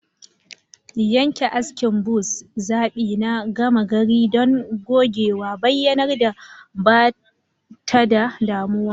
Yanke askin buzz, zaɓi na gama gari don gogewa, bayyanar da ba ta da damuwa.